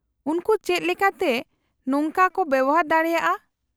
-ᱩᱱᱠᱩ ᱪᱮᱫ ᱞᱮᱠᱟᱛᱮ ᱱᱚᱝᱠᱟ ᱠᱚ ᱵᱮᱣᱦᱟᱨ ᱫᱟᱲᱮᱭᱟᱜᱼᱟ ?